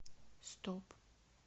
стоп